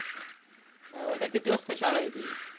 R उद्या किती वाजता शाळा आहे तुझी.